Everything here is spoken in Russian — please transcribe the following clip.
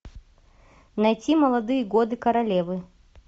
найти молодые годы королевы